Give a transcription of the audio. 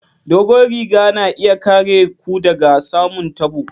Dogon riga na iya kare ku daga samun tabo.